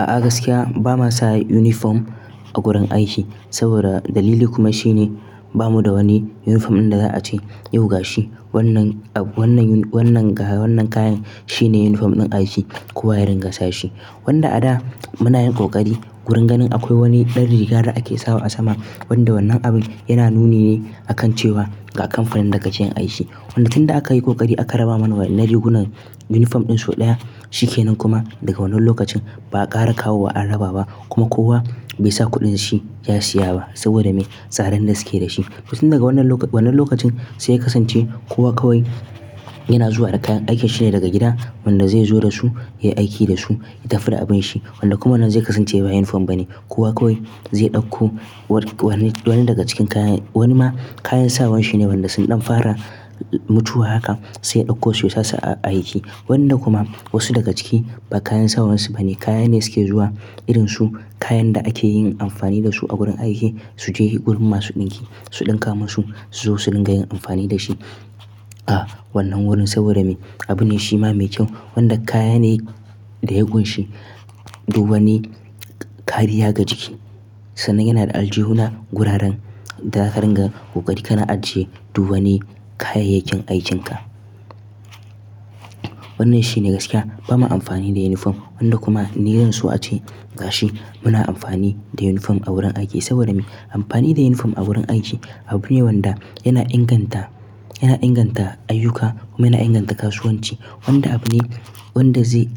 A'a gaskiya ba ma sa uniform a gurin aiki. Saboda dalili kuma shine ba mu da wani uniform ɗin da za a ce yau gashi wannan, wannan, wannan kayan shine uniform ɗin aiki kowa ya ringa sa shi. Wanda a da muna yin ƙoƙari gurin ganin akwai wani ɗan rigar da ake sawa a sama wanda wannan abin yana nuni ne akan cewa ga kamfanin daka keyiniaiki. Wanda tun da aka yi ƙoƙari aka raba mana na rigunan uniform ɗin sau ɗaya shikenan kuma daga wannan lokacin ba a ƙara kawo ba an raba ba kuma kowa bai sa kuɗin shi ya siya ba saboda me? Tsarin da suke da shi. To tin daga wannan lokacin sai ya ka sance kowa kawai yana zuwa da kayan aikin shi ne daga gida wanda zai zo da su, yai aiki da su, ya tafi da abin shi. Wanda kuma wannan zai kasance ba uniform bane. Kowa kawai zai ɗauko wani, wani daga cikin kayan wani ma kayan sawar shi ne wanda sun ɗan fara mutuwa haka sai ya ɗauko su ya sasu a aiki. Wanda kuma wasu daga ciki ba kayan sawar su bane, kayan ne suke zuwa irin su kayan da ake yin amfani da su a gurin aiki su je gurin ma su ɗinki, su ɗinka musu, su zo su ringa yin amfani da shi. A wannan wurin saboda me? Abu ne shi ma mai kyau wanda kaya ne da ya ƙunshi duwanni kariya ga jiki. Sannan yana da aljihuna guraren da zaka ringa ƙoƙari kana ajiye duwanni kayayyakin aikinka. Wannan shine gaskiya ba ma amfani da uniform wanda kuma ni zan so a ce gashi muna amfani da uniform a wurin aiki saboda me? Amfani da uniform a wurin aiki abu ne wanda yana inganta, yana inganta ayyuka kuma yana inganta kasuwanci. Wanda abu ne wanda zai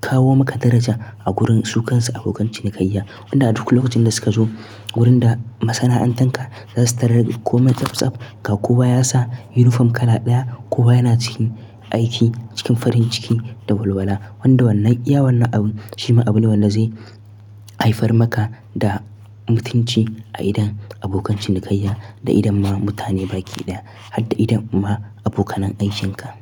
kawo maka daraja a gurin su kansu abokan cinikayya. Wanda a duk lokacin da suka zo wurin da masana'antar ka zasu tarar komai tsaf tsaf. Ga kowa ya sa uniform kala ɗaya, kowa yana cikin aiki cikin farin ciki da walwala. Wanda wannan iya wannan abu shi ma abu ne wanda zai haifar maka da mutunci a idon abokan cinikayya da idon ma mutane baki ɗaya har da idon ma abokan an aikin ka.